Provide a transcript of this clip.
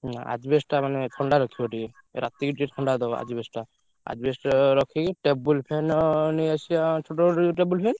ନା asbestos ଟା ମାନେ ଥଣ୍ଡା ରଖିବ ଟିକେ। ରାତିକି ଟିକେ ଥଣ୍ଡା ଦବ asbestos ଟା। asbestos ରଖିକି table fan ନେଇଆସିଆ ଛୋଟ ଛୋଟ table fan ।